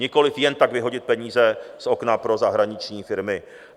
Nikoliv jen tak vyhodit peníze z okna pro zahraniční firmy.